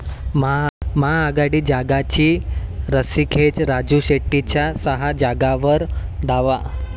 महाआघाडीत जागांची रस्सीखेच, राजू शेट्टींचा सहा जागांवर दावा